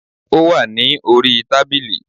Ó wà ní orí i tábìlì